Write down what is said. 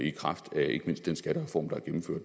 i kraft af ikke mindst den skattereform